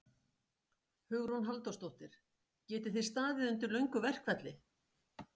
Hugrún Halldórsdóttir: Getið þið staðið undir löngu verkfalli?